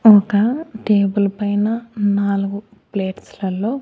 ఒక టేబుల్ పైన నాలుగు ప్లేట్స్ లల్లో.